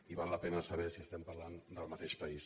i val la pena sa·ber si estem parlant del mateix país